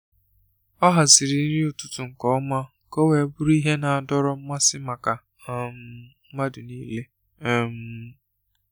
Ọ haziri nri ụtụtụ nke ọma ka ọ wee bụrụ ihe na-adọrọ mmasị maka um mmadụ niile. um